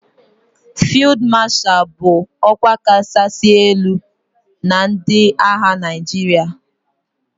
Fiụd Masha bụ ọkwa kachasị elu na ndị agha Naijiria